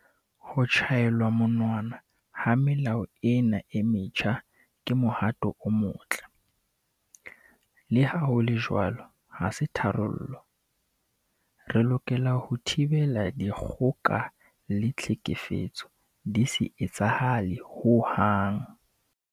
Ho tjhaelwa monwana ha melao ena e metjha ke mohato o motle. Leha ho le jwalo ha se tharollo. Re lokela ho thibela dikgoka le tlhekefetso di se etsahale hohang.